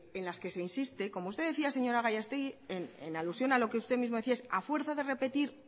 en las que se insiste como usted decía señora gallastegui en alusión a lo que usted mismo decía es a fuerza de repetir